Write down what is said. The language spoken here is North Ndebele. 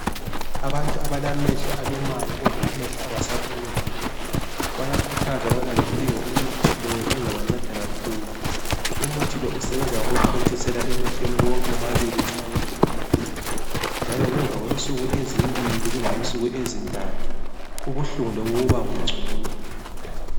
Abantu abalamehlo alumayo kumbe amehlo angasabonikuhle bayakhuthazwa ukubana bedinge umuthi lowu uzabanceda kakhulu. Umuthi lo usebenza ngokuthontiselwa emehlweni wonke womabili nxa wonke ebuhlungu njalo ngemva kwensuku ezimbili kumbe insuku ezintathu ubuhlungu lobu bubabungcono.